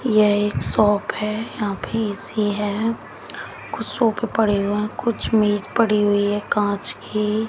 यह एक शॉप है यहां पे ए_सी है कुछ सोफे पड़े हुए है कुछ मेज पड़ी हुई है कांच की।